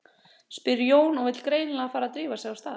spyr Jón og vill greinilega fara að drífa sig af stað.